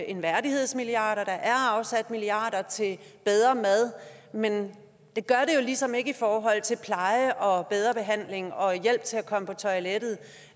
en værdighedsmilliard og at der er afsat milliarder til bedre mad men det gør det jo ligesom ikke i forhold til pleje og bedre behandling og hjælp til at komme på toilettet